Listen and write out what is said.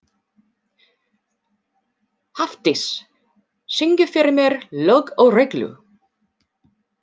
Hafdís, syngdu fyrir mig „Lög og regla“.